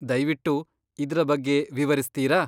ದಯ್ವಿಟ್ಟು ಇದ್ರ ಬಗ್ಗೆ ವಿವರಿಸ್ತೀರಾ?